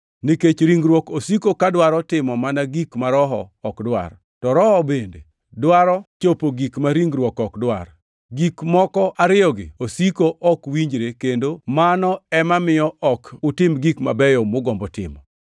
Nikech ringruok osiko ka dwaro timo mana gik ma Roho ok dwar, to Roho bende dwaro chopo gik ma ringruok ok dwar. Gik moko ariyogi osiko ok winjre kendo mano ema miyo ok utim gik mabeyo mugombo timo.